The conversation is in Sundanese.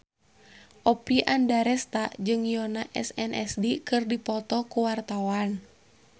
Oppie Andaresta jeung Yoona SNSD keur dipoto ku wartawan